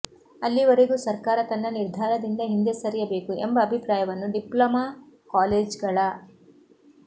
ಅಲ್ಲಿವರೆಗೂ ಸರ್ಕಾರ ತನ್ನ ನಿರ್ಧಾರದಿಂದ ಹಿಂದೆ ಸರಿಯಬೇಕು ಎಂಬ ಅಭಿಪ್ರಾಯವನ್ನು ಡಿಪ್ಲೊಮಾ ಕಾಲೇಜ್ಗಳ